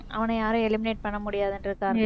அவன யாரும் eliminate பண்ண முடியாதுன்றதுக்காக